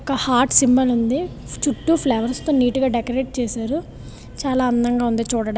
ఒక heart symbol ఉంది చుట్టు ఫ్లవర్స్ నీటు గా డెకొరేషన్ చేశారు చాలా అందంగా ఉంది చూడటానికి.